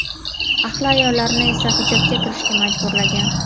Ahli ayollarini esa hijobga kirishga majburlagan.